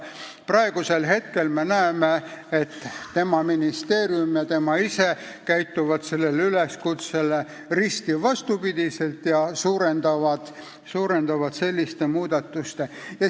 Praegu me näeme, et tema ministeerium ja tema ise käituvad sellele üleskutsele risti vastupidi ja suurendavad selliste muudatuste mahtu.